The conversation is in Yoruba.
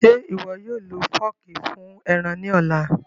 Ṣe iwọ yóò lo fọọki fun ẹran ni ọla?